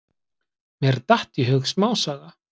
Mér datt í hug smásaga.